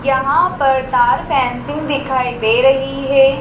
यहां पर तार फेंसिंग दिखाई दे रही है।